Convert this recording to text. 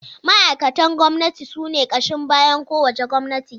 Ma’aikatan gwamnati sune ƙashin bayan kowace gwamnati.